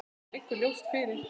Það liggur ljóst fyrir.